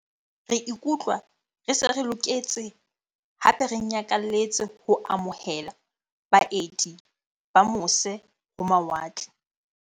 Re ikutlwa re se re loketse hape re nyakalletse ho amo hela baeti ba mose ho mawatle.